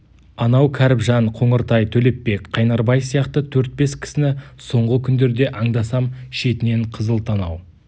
анау кәріпжан қоңыртай төлепбек қайнарбай сияқты төрт-бес кісіні соңғы күндерде аңдасам шетінен қызыл танау